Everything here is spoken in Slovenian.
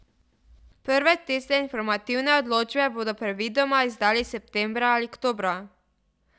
Prve testne informativne odločbe bodo predvidoma izdali septembra ali oktobra.